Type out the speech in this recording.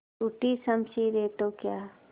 टूटी शमशीरें तो क्या